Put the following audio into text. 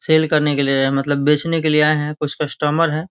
Cell करने के लिए मतलब बेचने के लिए आये है कुछ कस्टमर है।